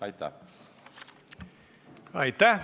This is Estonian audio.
Aitäh!